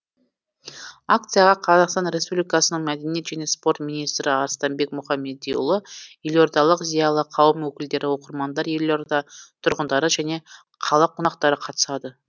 акцияға қазақстан республикасының мәдениет және спорт министрі арыстанбек мұхамедиұлы елордалық зиялы қауым өкілдері оқырмандар елорда тұрғындары және қала қонақтары қатысады